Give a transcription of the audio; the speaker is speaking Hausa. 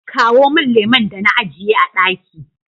kawo min lemon da na ajiye a ɗaki